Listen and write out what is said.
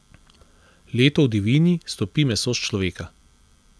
Leto v divjini stopi meso s človeka.